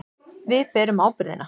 Við berum ábyrgðina.